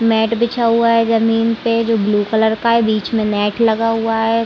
Mat बिछा हुआ है जमीन पे जो ब्लू कलर का। बीच में नेट लगा हुआ है।